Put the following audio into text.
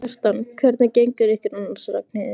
Kjartan: Hvernig gengur ykkur annars, Ragnheiður?